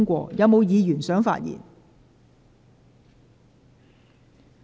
是否有議員想發言？